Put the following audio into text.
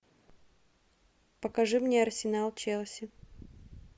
покажи мне арсенал челси